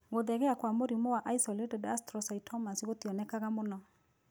Gũthegea kwa mũrimũ wa isolated astrocytomas gũtionekaga mũno